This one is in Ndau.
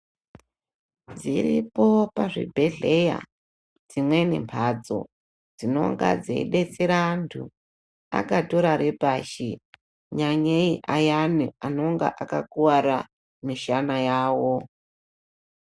Dziripo pazvibhedhleya dzimweni mbatso, dzinonga dzeyidetsera antu akatorare pashi, nyanyeyi ayana anonga akakuwara mishana yawo.